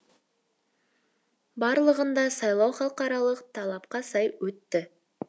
барлығында сайлау халықаралық талапқа сай өтті